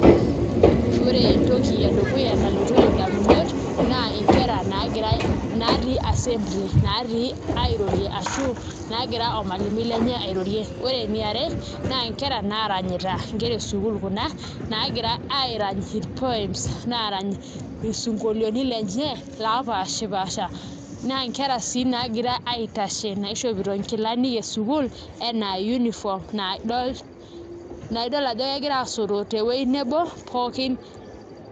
Ore entoki edukuya nalotu indamunot naa nkera natii assembly naatii airorie ashu naagira ormalimui lenye airorie, ore eniare naa nkera naaranyita nkera esukuul kuna naagira aarany orpoem naa aarany isinkolioiti lenye lopaashipaasha naa nkera sii naagira aitasho naishopito nkilani esukuul enaa uniform naa idol ajo kegira aasoto tewuei nebo.